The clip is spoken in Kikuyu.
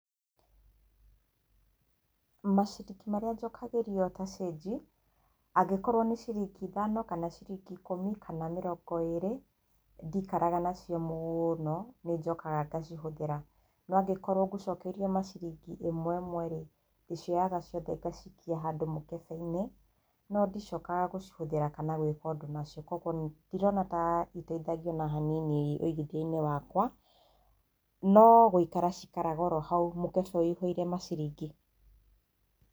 Maciringi marĩa njokagĩrio ta cĩnji angĩkorwo nĩ ciringi ithano kana ciringi ikũmi kana mĩrongo ĩrĩ ndikaraga nacio mũno nĩnjokaga ngacihũthĩra, no angĩkorwo ngũcokeirio maciringi ĩmwe ĩmwe rĩ ndĩcioyaga ciothe ngacikia handũ mũkebe-inĩ, no ndicokaga gũcihũthĩra kana gwĩka ũndũ ũngĩ nacio. Koguo ndirona ta cindeithagia ona hanini wĩigithiainĩ wakwa no gũikara cikaraga oro hau mũkebe wũihũire maciringi.